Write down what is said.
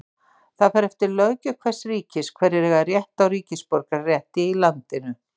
það fer eftir löggjöf hvers ríkis hverjir eiga rétt á ríkisborgararétti í landinu